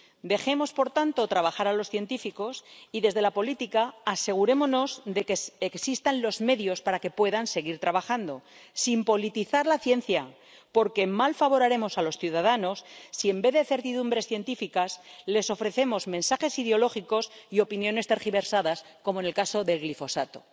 Dejemos por tanto trabajar a los científicos y, desde la política, asegurémonos de que existan los medios para que puedan seguir trabajando sin politizar la ciencia, porque mal favor haremos a los ciudadanos si en vez de certidumbres científicas, les ofrecemos mensajes ideológicos y opiniones tergiversadas, como en el caso del glifosato.